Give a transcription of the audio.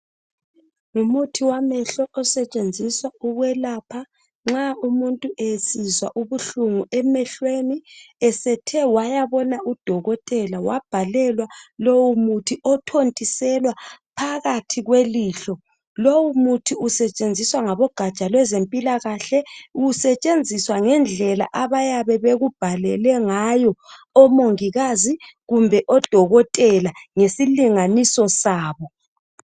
ngmuthi wamehlo osetshenziswa ukwelapha nxa umuntu esizwa ubuhlungu emehlweni esethe wayabona udokotela wabhalelwa lowo muthi othontiselwa phakathi kwelihlo lowu muthi usetshenziswa ngabezogatsha lwezempilakahle usetshenziswa ngendlela abayabe bekubhalele ngayo omongikazi kumbe odokotela ngesilinganiso sabo